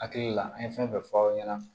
Hakili la an ye fɛn fɛn fɔ aw ɲɛna